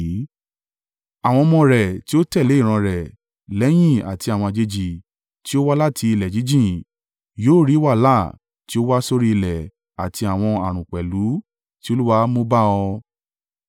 Àwọn ọmọ rẹ tí ó tẹ̀lé ìran rẹ lẹ́yìn àti àwọn àjèjì tí ó wá láti ilẹ̀ jíjìn yóò rí wàhálà tí ó wá sórí ilẹ̀ àti àwọn ààrùn pẹ̀lú tí Olúwa mú bá ọ.